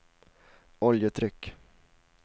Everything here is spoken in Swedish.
oljetryck